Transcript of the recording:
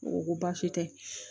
N ko baasi tɛ